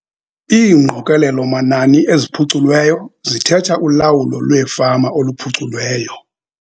Iingqokelelo-manani eziphuculweyo zithetha ulawulo lwefama oluphuculweyo.